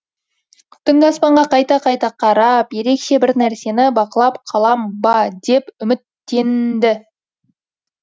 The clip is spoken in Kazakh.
түнгі аспанға қайта қайта қарап ерекше бір нәрсені бақылап қалам ба деп үміттеннді